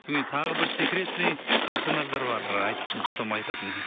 содан кейін тағы бір секретный персонаждар бар потом айтатын